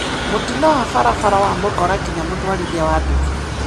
Mũtino wa barabara wa mũkora nginya mũtwarithia wa nduthi